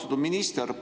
Austatud minister!